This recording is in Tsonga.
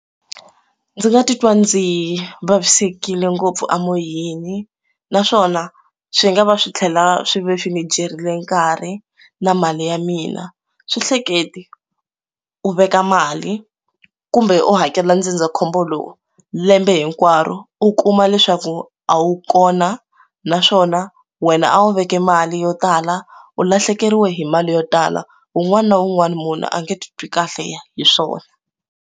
Ndzi nga titwa ndzi yi vavisekile ngopfu emoyeni naswona swi nga va swi tlhela swi ve swi ndzi byerile nkarhi na mali ya mina swi hleketi u veka mali kumbe u hakela ndzindzakhombo lowu lembe hinkwaro u kuma leswaku a wu kona naswona wena a wu veke mali yo tala u lahlekeriwa hi mali yo tala un'wana na un'wana munhu a nga ti twi kahle hi swona.